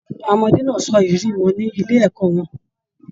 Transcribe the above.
Àwọn ọmọdé náà sọ ìrírí wọn ní ilé ẹ̀kọ́ wọn.